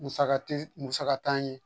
Musaka tɛ musa t'an ye